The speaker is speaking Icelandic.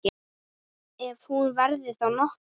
Ef hún verður þá nokkur.